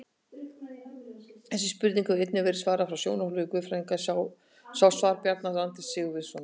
Þessari spurningu hefur einnig verið svarað frá sjónarhóli guðfræðinnar, sjá svar Bjarna Randvers Sigurvinssonar.